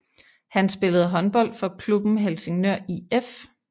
Han spillede håndbold for klubben Helsingør IF